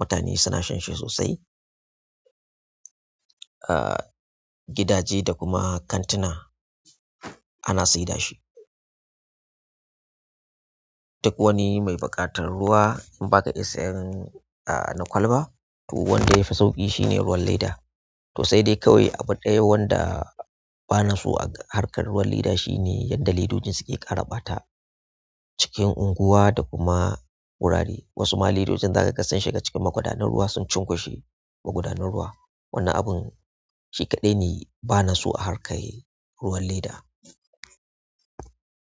mutane suna shan shi sosai a gidaje da kuma kantuna ana saida shi. Duk wani mai buƙatar ruwa in ba ka iya sayan ah na kwalba, to wanda ya fi sauƙi shine ruwan leda. To sai dai kawai abu ɗaya wanda bana so a harkar ruwan leda shine yadda ledojin suke ƙara ɓata cikin unguwa da kuma wurare. Wasu ma ledojin za ka ga sun shiga cikin magudanun ruwa sun cunkushe magudanun ruwa. Wannan abun shi kaɗai ne bana so a harkar ruwan leda.